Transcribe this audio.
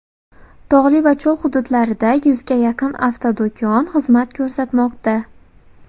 Tog‘li va cho‘l hududlarida yuzga yaqin avtodo‘kon xizmat ko‘rsatmoqda.